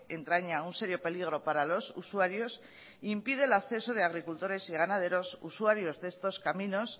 entraña un serio peligro para los usuarios e impide el acceso de agricultores y ganaderos usuarios de estos caminos